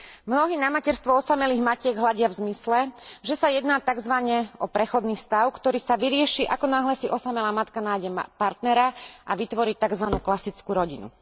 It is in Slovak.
Mnohí na materstvo osamelých matiek hľadia v zmysle, že sa jedná takzvane o prechodný stav, ktorý sa vyrieši, hneď ako si osamelá matka nájde partnera a vytvorí takzvanú klasickú rodinu.